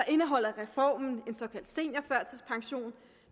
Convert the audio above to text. indeholder reformen en såkaldt seniorførtidspension